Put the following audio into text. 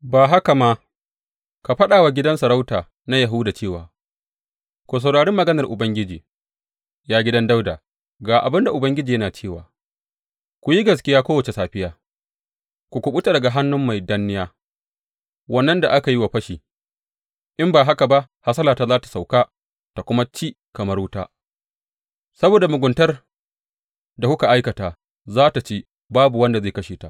Ban haka ma, ka faɗa wa gidan sarauta na Yahuda cewa, Ku saurari maganar Ubangiji; Ya gidan Dawuda ga abin da Ubangiji yana cewa, Ku yi gaskiya kowace safiya; ku kuɓuta daga hannun mai danniya wannan da aka yi wa fashi in ba haka ba hasalata za tă sauka ta kuma ci kamar wuta saboda muguntar da kuka aikata za tă ci babu wanda zai kashe ta.